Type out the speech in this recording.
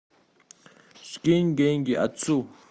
скинь деньги отцу